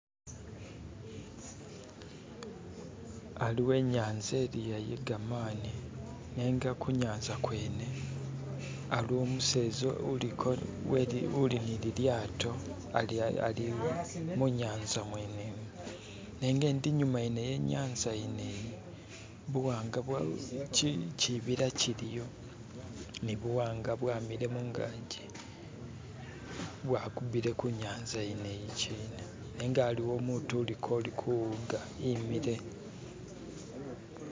aliwo inyanza iliya iye gamani nenga kunyanza kwene aliwo umseza uliko uli ni lilyato ali munyanza mwene mo nenga ndi inyuma wenyanza yeneyi buwanga chibila chiliyo ni buwanga bwamile mungaji bwakubile kunyanza yene iyichina nenga aliwo umutu uliko kuwuga imile